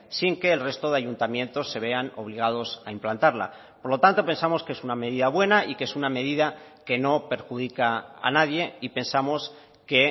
sin que el resto de ayuntamientos se vean obligados a implantarla por lo tanto pensamos que es una medida buena y que es una medida que no perjudica a nadie y pensamos que